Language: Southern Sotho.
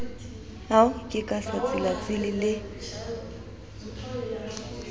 ka ke sa tsilatsile le